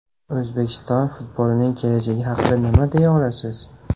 O‘zbekiston futbolining kelajagi haqida nima deya olasiz?